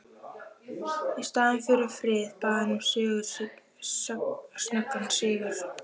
Í staðinn fyrir frið bað hann um snöggan sigur.